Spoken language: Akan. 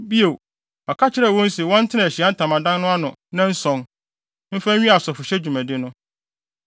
Bio, ɔka kyerɛɛ wɔn se wɔntena Ahyiae Ntamadan no ano nnanson, mfa nwie asɔfohyɛ dwumadi no.